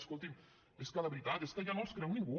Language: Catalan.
escolti’m és que de veritat ja no els creu ningú